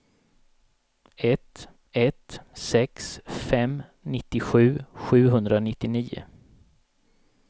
ett ett sex fem nittiosju sjuhundranittionio